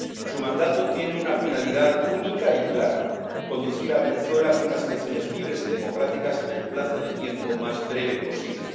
Su mandato tiene una finalidad única y clara conducir a Venezuela hacia unas elecciones libres y democráticas en el plazo de tiempo más breve posible